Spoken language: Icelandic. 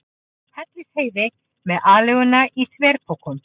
Hellisheiði með aleiguna í þverpokum.